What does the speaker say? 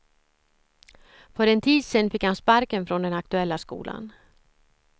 För en tid sen fick han sparken från den aktuella skolan.